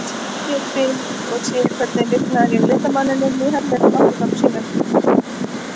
spyr ég og sé hvernig lifnar yfir litla manninum í herralegu náttfötunum sínum.